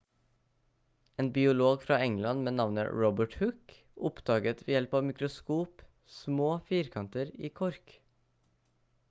en biolog fra england med navnet robert hooke oppdaget ved hjelp av mikroskop små firkanter i kork